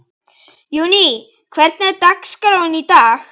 Júní, hvernig er dagskráin í dag?